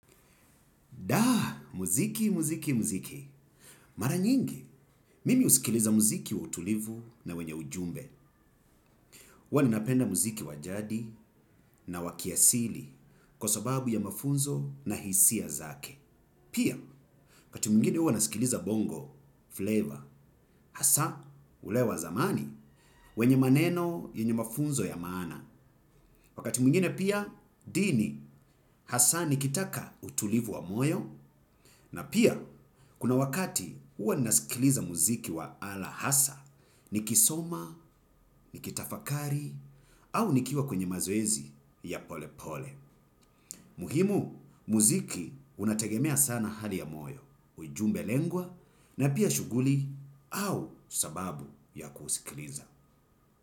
Da, muziki, muziki, muziki. Mara nyingi, mimi usikiliza muziki wa utulivu na wenye ujumbe. Huwa ninapenda muziki wa jadi na wa kiasili kwa sababu ya mafunzo na hisia zake. Pia, wakati mungine uwa nasikiliza bongo, flavor, hasa, ulewa zamani, wenye maneno, wenye mafunzo ya maana. Wakati mungine pia, dini hasa nikitaka utulivu wa moyo, na pia kuna wakati uwa nasikiliza muziki wa ala hasa, nikisoma, nikitafakari, au nikiuwa kwenye mazoezi ya pole pole. Muhimu, muziki unategemea sana hali ya moyo, ujumbe lengwa, na pia shuguli au sababu ya kusikiliza.